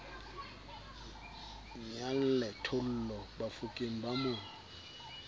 nyalle thollo bafokeng ba mo